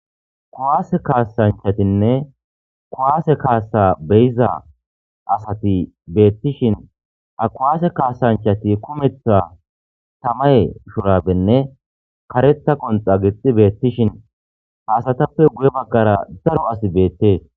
Kowaase kaasanchatinne kowaase kaasa beyiza asati beettishin akowaase kaasanchati kumetha tamay shurabenne kareta qonxa gixi beettishin haasatappe guye maggara daro asi beettee.